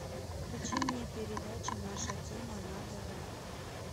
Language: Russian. включи мне передачу наша тема на тв